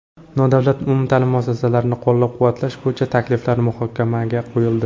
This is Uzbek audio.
Nodavlat umumta’lim muassasalarini qo‘llab-quvvatlash bo‘yicha takliflar muhokamaga qo‘yildi.